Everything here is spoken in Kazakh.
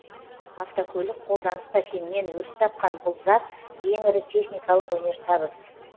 автокөлік қолданыста кеңінен өріс тапқан бұл зат ең ірі техникалық өнертабыс